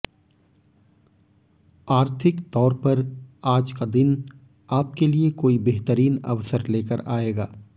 आर्थिक तोर पर आज का दिन आपके लिए कोई बेहतरीन अवसर लेकर आएगा